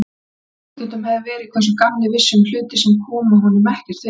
Með ólíkindum hefði verið, hvað sá gamli vissi um hluti, sem honum komu ekkert við.